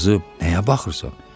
Qızı, nəyə baxırsan?